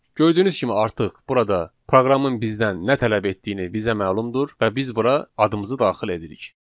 Gördüyünüz kimi artıq burada proqramın bizdən nə tələb etdiyini bizə məlumdur və biz bura adımızı daxil edirik.